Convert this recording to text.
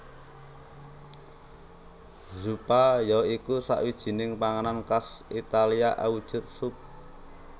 Zuppa ya iku sawijining panganan khas Italia awujud sup